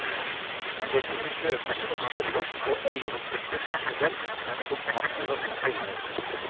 De kunne kjøpes og selges og eieren kunne behandle dem som han eller hun ville.